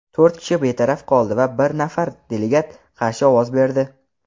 to‘rt kishi betaraf qoldi va bir nafar delegat qarshi ovoz berdi.